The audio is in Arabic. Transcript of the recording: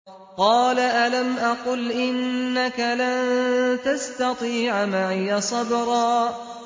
قَالَ أَلَمْ أَقُلْ إِنَّكَ لَن تَسْتَطِيعَ مَعِيَ صَبْرًا